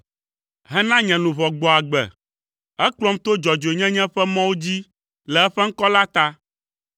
hena nye luʋɔ gbɔ agbe. Ekplɔm to dzɔdzɔenyenye ƒe mɔwo dzi le eƒe ŋkɔ la ta.